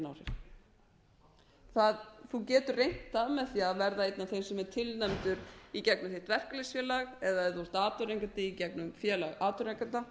engin áhrif þú getur reynt það með því að verða einn af þeim sem er tilnefndur í gegnum þitt verkalýðsfélag eða ef þú er atvinnurekandi í gegnum félag atvinnurekenda